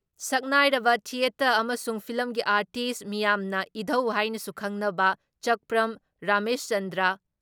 ꯁꯛꯅꯥꯏꯔꯕ ꯊꯤꯌꯦꯇꯔ ꯑꯃꯁꯨꯡ ꯐꯤꯂꯝꯒꯤ ꯑꯥꯔꯇꯤꯁ ꯃꯤꯌꯥꯝꯅ ꯏꯙꯧ ꯍꯥꯏꯅꯁꯨ ꯈꯪꯅꯕ ꯆꯛꯄ꯭ꯔꯝ ꯔꯥꯃꯦꯁꯆꯟꯗ꯭ꯔ ꯫